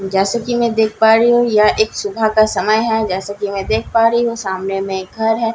जैसे कि मैं देख पा रही हूं यह एक सुबह का समय है जैसे कि मैं देख पा रही हूं सामने में एक घर है जैसे कि मैं--